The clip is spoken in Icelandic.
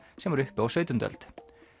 sem var uppi á sautjándu öld